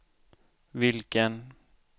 vilken